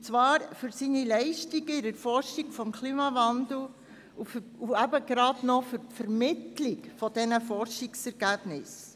Den Preis erhielt er für seine Leistung in der Erforschung des Klimawandels und für die Vermittlung dieser Forschungsergebnisse.